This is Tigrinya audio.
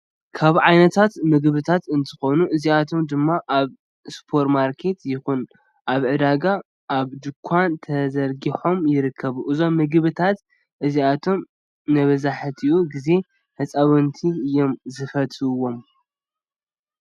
ካብ ዓይነታት ምግብታት እንትከኑ እዚኣቶም ድማ ኣብ ስፖርማርኬት ይኩን ኣብ ዕዳጋ፣ ኣብ ድኳን ተዘርጊሖም ይርከቡ። እዞም ምግብታት እዚኣቶም መብዛሕቲኡ ግዜ ህፃውቲ እዮም ዝፈትውዎም።